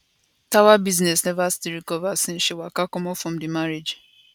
tawa business never still recover since she waka comot from di marriage